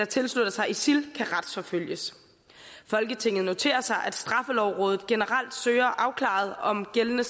tilslutter sig isil kan retsforfølges folketinget noterer sig at straffelovrådet generelt søger afklaret om gældende